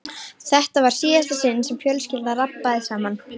Þetta var í síðasta sinn sem fjölskyldan rabbaði saman.